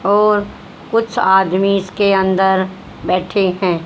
और कुछ आदमी इसके अंदर बैठे हैं।